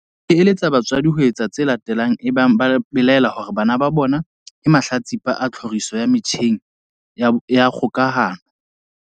e eletsa batswadi ho etsa tse latelang ebang ba belaela hore bana ba bona ke mahlatsipa a tlhoriso ya metjheng ya kgokahano.